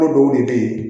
Dɔw de be yen